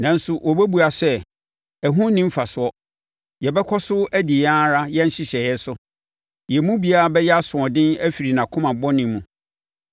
Nanso wɔbɛbua sɛ, ‘Ɛho nni mfasoɔ. Yɛbɛkɔ so adi yɛn ara yɛn nhyehyɛeɛ so; yɛn mu biara bɛyɛ asoɔden a ɛfiri nʼakoma bɔne mu.’ ”